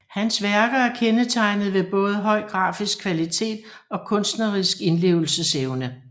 Hans værker er kendetegnet ved både høj grafisk kvalitet og kunstnerisk indlevelsesevne